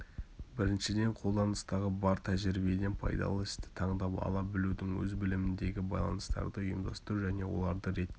біріншіден қолданыстағы бар тәжірибеден пайдалы істі таңдап ала білудің өз біліміндегі байланыстарды ұйымдастыру және оларды ретке